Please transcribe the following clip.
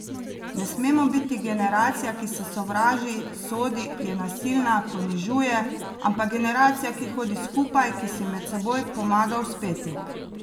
Ne smemo biti generacija, ki se sovraži, sodi, je nasilna, ponižuje, ampak generacija, ki hodi skupaj, ki si med seboj pomaga uspeti.